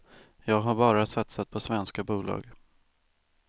Jag har bara satsat på svenska bolag.